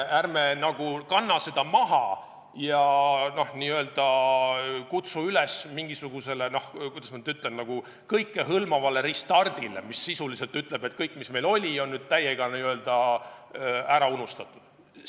Ärme kanname seda maha ega kutsu üles mingisugusele, kuidas ma nüüd ütlen, kõikehõlmavale restardile, mis sisuliselt ütleb, et kõik, mis meil oli, on nüüd täiega ära unustatud.